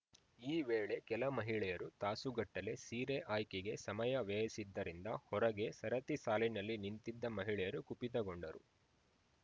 ಈ ವೇಳೆ ಕೆಲ ಮಹಿಳೆಯರು ತಾಸುಗಟ್ಟಲೇ ಸೀರೆ ಆಯ್ಕೆಗೆ ಸಮಯ ವ್ಯಯಿಸಿದ್ದರಿಂದ ಹೊರಗೆ ಸರತಿ ಸಾಲಿನಲ್ಲಿ ನಿಂತಿದ್ದ ಮಹಿಳೆಯರು ಕುಪಿತಗೊಂಡರು